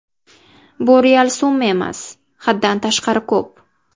Bu real summa emas, haddan tashqari ko‘p.